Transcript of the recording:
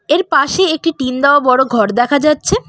এর পাশে একটি টিন দেওয়া বড়ো ঘর দেখা যাচ্ছে।